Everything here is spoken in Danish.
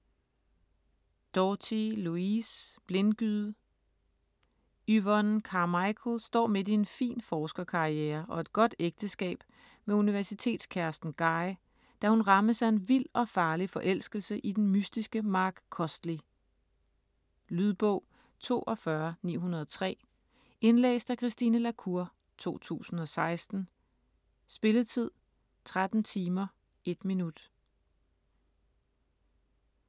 Doughty, Louise: Blindgyde Yvonne Carmichael står midt i en fin forskerkarriere og et godt ægteskab med universitetskæresten Guy, da hun rammes af en vild og farlig forelskelse i den mystiske Mark Costley. Lydbog 42903 Indlæst af Christine la Cour, 2016. Spilletid: 13 timer, 1 minut.